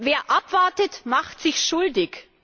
Wer abwartet, macht sich schuldig.